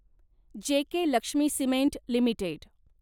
JK Lakshmi cement limited